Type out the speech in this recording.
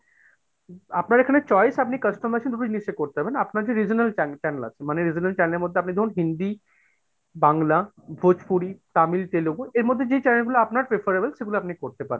আপনার এখানে choice আপনি customization ভাবে জিনিসটা করতে পারবেন, আপনার যে regional channel আছে মানে regional channel এর মধ্যে আপনি ধরুন হিন্দি, বাংলা, ভোজপুরি, তামিল, তেলেগু এর মধ্যে যে channel গুলো আপনার preferable সেগুলো আপনি করতে পারেন।